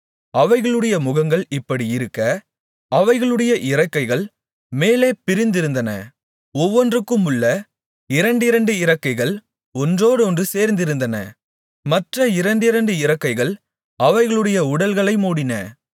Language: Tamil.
அவைகளுடைய முகங்கள் இப்படியிருக்க அவைகளுடைய இறக்கைகள் மேலே பிரிந்திருந்தன ஒவ்வொன்றுக்குமுள்ள இரண்டிரண்டு இறக்கைகள் ஒன்றோடொன்று சேர்ந்திருந்தன மற்ற இரண்டிரண்டு இறக்கைகள் அவைகளுடைய உடல்களை மூடின